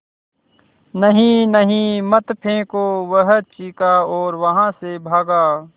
नहीं नहीं मत फेंको वह चीखा और वहाँ से भागा